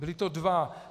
Byli to dva.